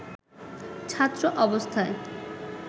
ছাত্র অবস্থায়